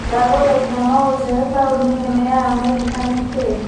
ndagũthaitha no ũjĩire taũni Nene ya Amerika nĩ kĩĩ